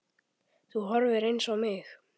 Þú horfir eins á mig.